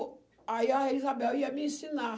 Aí a Isabel ia me ensinar.